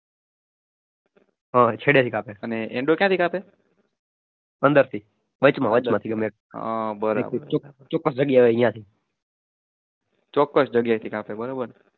અંદરથી વચમાં વચમાંથી